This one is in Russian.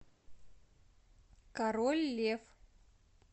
король лев